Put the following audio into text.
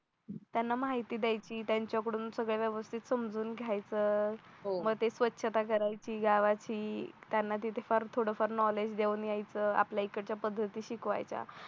त्यांना माहिती द्यायची त्यांच्याकडून सगळ्या व्यवस्थित समजून घ्यायचं हो म ते स्वच्छता करायची गावाची त्यांना तिथे फार थोडं फार नॉलेज देऊन यायचं आपल्या इकडच्या पद्धती शिकवायच्या